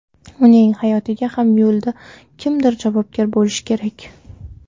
Uning hayotiga ham yo‘lda kimdir javobgar bo‘lishi kerak.